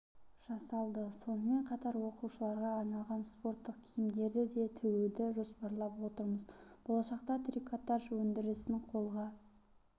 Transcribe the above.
жасалды сонымен қатар оқушыларға арналған спорттық киімдерді де тігуді жоспарлап отырмыз болашақта трикотаж өндірісін қолға